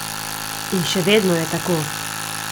In še vedno je tako.